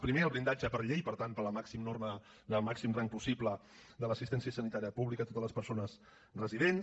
primer el blindatge per llei per tant per la norma del màxim rang possible de l’assistència sanitària pública a totes les persones residents